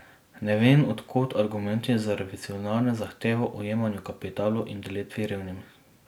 Ne vem, od kod argumenti za revolucionarne zahteve o jemanju kapitalu in delitvi revnim.